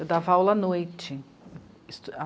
Eu dava aula à noite.